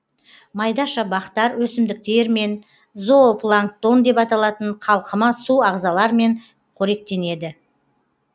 майдаша бақтар өсімдіктермен зоопланктон деп аталатын қалқыма су ағзалармен қоректенеді